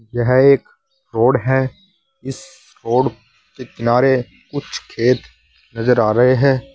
यह एक रोड है इस रोड के किनारे कुछ खेत नजर आ रहे हैं।